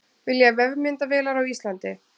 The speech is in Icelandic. Vilja vefmyndavélar á Íslandi